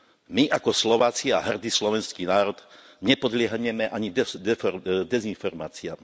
My ako Slováci a hrdý slovenský národ nepodľahneme ani dezinformáciam.